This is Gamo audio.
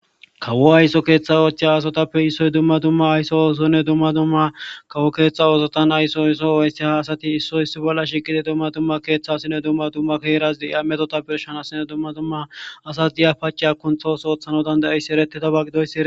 Kawo ayso keeththa oochchey asotappe issoy dumma dumma aysso oosonne dumma dumma kawo keeththa oosotan aysso isso oysse ha asati issoy issi bolla shiqidi dumma dumma keeththasinne dumma dumma keerasdi ya metota pershanassine dumma dumma asas diya pace a kunthoos ooththano dandayissi ereti tabagidoyssi.